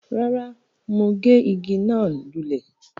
rárá, mọ́ gé igi náà lulẹ̀